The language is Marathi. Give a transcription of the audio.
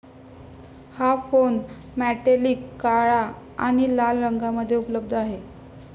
हा फोन मॅटेलिक काळा आणि लाल रंगामध्ये उपलब्ध आहे.